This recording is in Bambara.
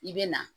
I bɛ na